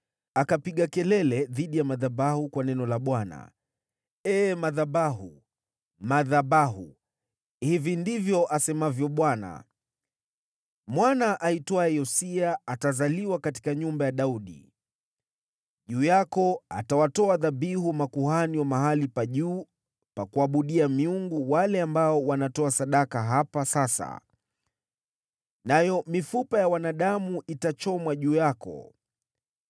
Akapiga kelele dhidi ya madhabahu kwa neno la Bwana : “Ee madhabahu, madhabahu! Hivi ndivyo asemavyo Bwana : ‘Mwana aitwaye Yosia atazaliwa katika nyumba ya Daudi. Juu yako atawatoa dhabihu makuhani wa mahali pa juu pa kuabudia miungu wale ambao wanatoa sadaka hapa sasa, nayo mifupa ya wanadamu itachomwa juu yako.’ ”